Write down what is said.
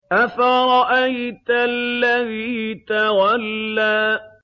أَفَرَأَيْتَ الَّذِي تَوَلَّىٰ